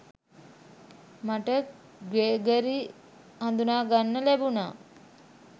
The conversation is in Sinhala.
මට ග්‍රෙගරි හඳුනා ගන්න ලැබුණා